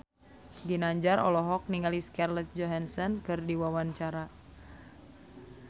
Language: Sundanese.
Ginanjar olohok ningali Scarlett Johansson keur diwawancara